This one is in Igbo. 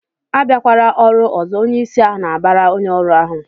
"Abịakwala ọrụ ọzọ!" Onyeisi ahụ na-abara onye ọrụ ahụ